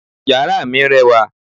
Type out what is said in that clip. yara mi rẹwa